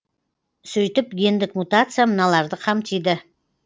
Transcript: сөйтіп гендік мутация мыналарды қамтиды